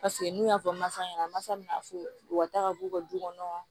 Paseke n'u y'a fɔ masa ɲɛna masa min m'a fɔ u ka taa ka b'u ka du kɔnɔ